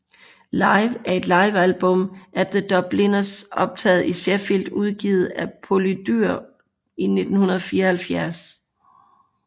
Live er et livealbum af The Dubliners optager i Sheffield udgivet af Polydor i 1974